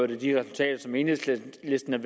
de resultater som enhedslisten har